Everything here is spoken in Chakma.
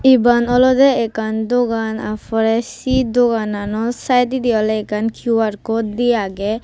iban olodey ekkan dogan aa porey si dogano saededi oley ekkan Q_R code de agey.